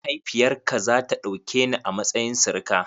Mahaifiyar ka za ta ɗauke ni a matsayin sirika?